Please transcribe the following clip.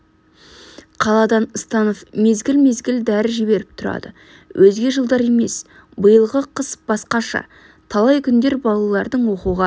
қаладан станов мезгіл-мезгіл дәрі жіберіп тұрады өзге жылдар емес биылғы қыс басқаша талай күндер балалардың оқуға